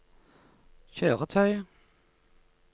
kjøretøy